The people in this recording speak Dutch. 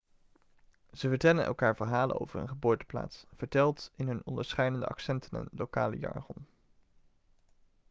ze vertellen elkaar verhalen over hun geboorteplaats verteld in hun onderscheidende accenten en lokale jargon